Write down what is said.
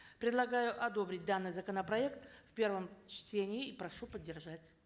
предлагаю одобрить данный законопроект в первом чтении и прошу поддержать